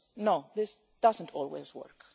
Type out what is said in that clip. works? No, this doesn't always